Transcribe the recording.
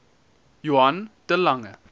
johann de lange